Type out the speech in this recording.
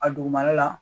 A dugumana la